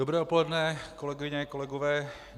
Dobré odpoledne, kolegyně, kolegové.